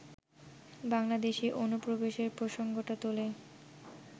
বাংলাদেশী অনুপ্রবেশের প্রসঙ্গটা তোলে